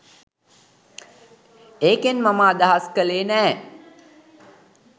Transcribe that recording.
ඒකෙන් මම අදහස් කලේ නෑ